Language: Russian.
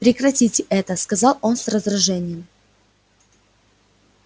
прекратите это сказал он с раздражением